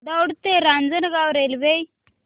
दौंड ते रांजणगाव रेल्वे